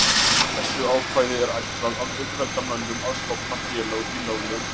Þessu ákvæði er ætlað að auðvelda mönnum að stofna félög í löglegum tilgangi.